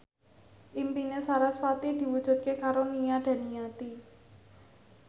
impine sarasvati diwujudke karo Nia Daniati